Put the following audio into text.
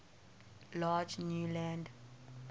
large new land